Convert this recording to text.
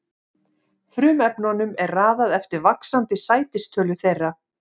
Frumefnunum er raðað eftir vaxandi sætistölu þeirra.